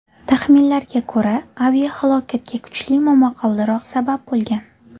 Taxminlarga ko‘ra, aviahalokatga kuchli momaqaldiroq sabab bo‘lgan.